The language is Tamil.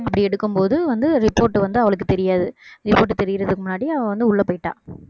அப்படி எடுக்கும்போது வந்து report வந்து அவளுக்குத் தெரியாது report தெரியறதுக்கு முன்னாடி அவள் வந்து உள்ளே போயிட்டா